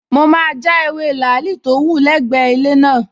Mo máa ja ewé làálì tó wù lẹ́gbẹ̀ẹ́ ilé wa